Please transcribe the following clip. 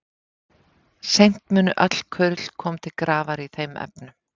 Seint munu öll kurl koma til grafar í þeim efnum.